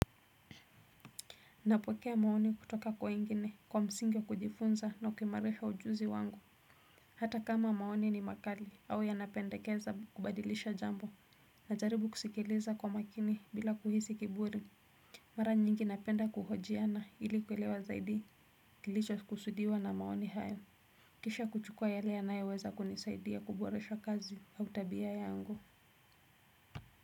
Napokea maoni kutoka kwa wengine kwa msingi wa kujifunza na kuimarisha ujuzi wangu. Hata kama maoni ni makali au yanapendekeza kubadilisha jambo. Najaribu kusikiliza kwa makini bila kuhisi kiburi. Mara nyingi napenda kuhojiana ili kuelewa zaidi kilichokusudiwa na maoni hayo. Kisha kuchukua yale yanayoweza kunisaidia kuboresha kazi au tabia yangu.